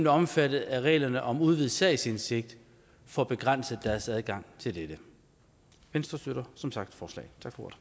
er omfattet af reglerne om udvidet sagsindsigt får begrænset deres adgang til dette venstre støtter som sagt forslaget